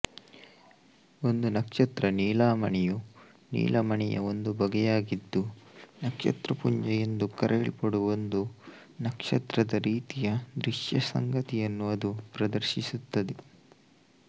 ಒಂದು ನಕ್ಷತ್ರ ನೀಲಮಣಿ ಯು ನೀಲಮಣಿಯ ಒಂದು ಬಗೆಯಾಗಿದ್ದು ನಕ್ಷತ್ರಪುಂಜ ಎಂದು ಕರೆಯಲ್ಪಡುವ ಒಂದು ನಕ್ಷತ್ರದರೀತಿಯ ದೃಶ್ಯಸಂಗತಿಯನ್ನು ಅದು ಪ್ರದರ್ಶಿಸುತ್ತದೆ